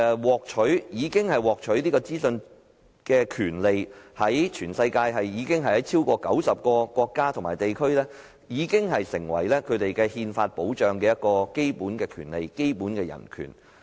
獲取資訊的權利在全球超過90個國家及地區已成為當地憲法保障的基本權利及人權。